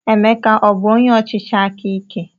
Emeka abụ onye ọchịchị aka ike?